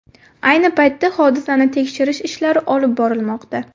Ayni paytda hodisani tekshirish ishlari olib borilmoqda.